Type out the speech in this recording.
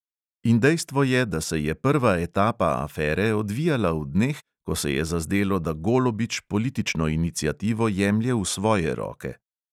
In dejstvo je, da se je prva etapa afere odvijala v dneh, ko se je zazdelo, da golobič politično iniciativo jemlje v svoje roke.